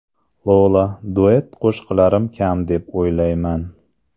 Lola: Duet qo‘shiqlarim kam deb o‘ylamayman.